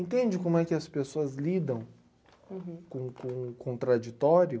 Entende como é que as pessoas lidam... Uhum... Com o com o contraditório?